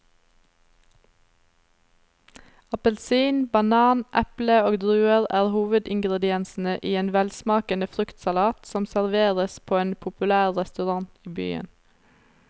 Appelsin, banan, eple og druer er hovedingredienser i en velsmakende fruktsalat som serveres på en populær restaurant i byen.